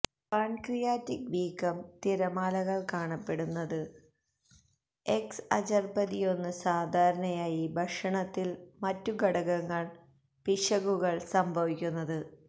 pancreatic വീക്കം തിരമാലകൾ കാണപ്പെടുന്നുണ്ട് എക്സഅചെര്ബതിഒന് സാധാരണയായി ഭക്ഷണത്തിൽ മറ്റ് ഘടകങ്ങൾ പിശകുകൾ സംഭവിക്കുന്നത്